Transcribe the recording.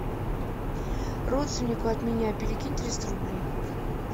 родственнику от меня перекинь триста рублей